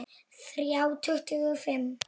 Þrjá tuttugu og fimm!